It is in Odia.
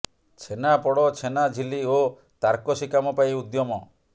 ଛେନା ପୋଡ଼ ଛେନା ଝିଲ୍ଲୀ ଓ ତାରକସି କାମ ପାଇଁ ଉଦ୍ୟମ